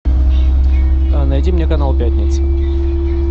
найди мне канал пятница